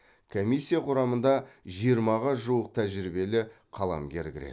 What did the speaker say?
комиссия құрамына жиырмаға жуық тәжірибелі қаламгер кіреді